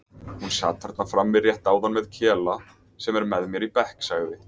Hún sat þarna frammi rétt áðan með Kela sem er með mér í bekk sagði